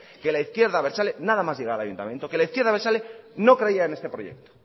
que la izquierda abertzale nada más llegar al ayuntamiento que la izquierda abertzale no creía en este proyecto